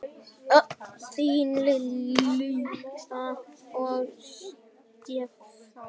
Þín Lilja og Stefán.